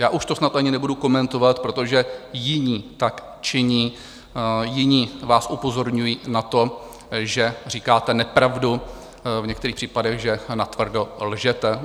Já už to snad ani nebudu komentovat, protože jiní tak činí, jiní vás upozorňují na to, že říkáte nepravdu, v některých případech že natvrdo lžete.